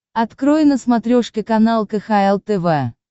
открой на смотрешке канал кхл тв